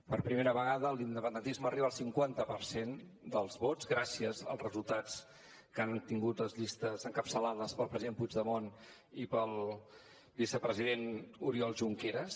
per primera vegada l’independentisme arriba al cinquanta per cent dels vots gràcies als resultats que han tingut les llistes encapçalades pel president puigdemont i pel vicepresident oriol junqueras